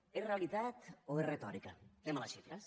és realitat o és retòrica anem a les xifres